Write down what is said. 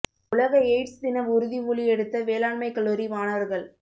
உலக எய்டஸ் தின உறுதி மொழி எடுத்த வேளாண்மைக் கல்லூரி மாணவா்கள்